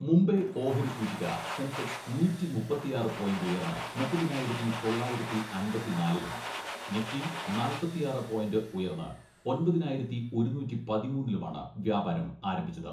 മുംബൈ ഓഹരി സൂചിക സെൻസെക്സ് നൂറ്റി മുപ്പത്തിയാറ് പോയിന്റ് ഉയർന്ന് മുപ്പതിനായിരത്തി തൊള്ളായിരത്തി അമ്പത്തിനാലിലും നിഫ്റ്റി നാല്പത്തിയാറ് പോയിന്റ് ഉയർന്ന് ഒമ്പതിനായിരത്തി ഒരുനൂറ്റി പതിമൂന്നിലുമാണ് വ്യാപാരം ആരംഭിച്ചത്.